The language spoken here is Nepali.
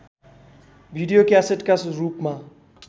भिडियो क्यासेटका रूपमा